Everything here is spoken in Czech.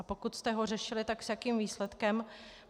A pokud jste ho řešili, tak s jakým výsledkem.